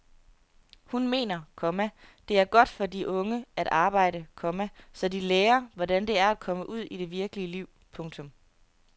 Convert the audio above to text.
Hun mener, komma det er godt for de unge at arbejde, komma så de lærer hvordan det er at komme ud i det virkelige liv. punktum